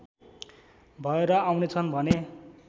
भएर आउनेछन् भने